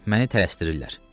Məni tələsdirirlər.